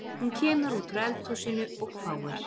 Hún kemur út úr eldhúsinu og hváir